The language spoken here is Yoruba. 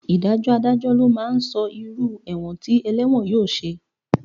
Ìdájọ́ Adájọ́ ló máa sọ irú ẹ̀wọ̀n tí ẹlẹ́wọ̀n yóò ṣe